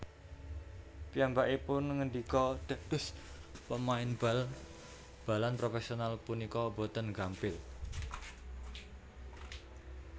Piyambakipun ngendika Dados pemain bal balan profèsional punika boten gampil